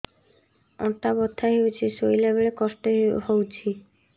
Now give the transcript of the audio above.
ଅଣ୍ଟା ବଥା ହଉଛି ଶୋଇଲା ବେଳେ କଷ୍ଟ ହଉଛି